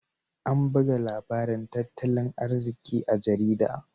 An buga labarin tattalin arziki a jaridar.